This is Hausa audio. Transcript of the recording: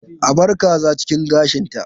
A bar kaza cikin gashinta.